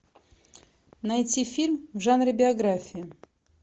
найти фильм в жанре биография